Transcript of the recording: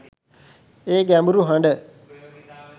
ඒ ගැඹුරු හඬ